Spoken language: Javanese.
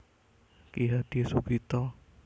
Ki Hadi Sugito